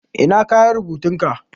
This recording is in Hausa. Ina kayan rubutun ka?